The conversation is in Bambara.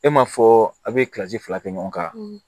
E ma fɔ a be kilasi fila kɛ ɲɔgɔn kan